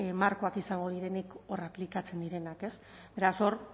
markoak izango direnik hor aplikatzen direnak beraz hor